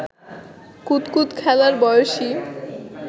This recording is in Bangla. কুতকুত খেলার বয়সী